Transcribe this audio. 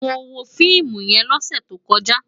Mó wó fiimú yèn lòsè tókòjá